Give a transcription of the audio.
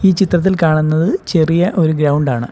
ഈ ചിത്രത്തിൽ കാണുന്നത് ചെറിയ ഒരു ഗ്രൗണ്ട് ആണ്.